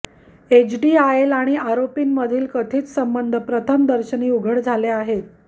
HDIL आणि आरोपीं मधील कथित संबंध प्रथम दर्शनी उघड झाले आहेत